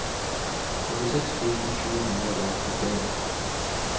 førtiseks tusen sju hundre og trettien